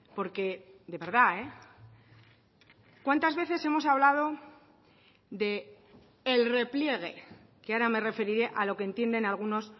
porque de verdad cuántas veces hemos hablado de el repliegue que ahora me referiré a lo que entienden algunos